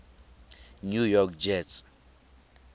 new york jets